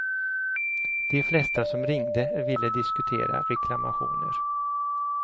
De flesta som ringde ville diskutera reklamationer.